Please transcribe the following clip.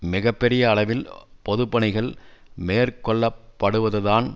மிக பெரிய அளவில் பொது பணிகள் மேற்கொள்ளப்படுவது தான்